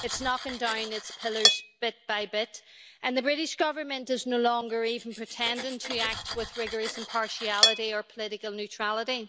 It's knocking down its pillars bit by bit and the British Government is no longer even pretending to act with rigorous impartiality or political neutrality.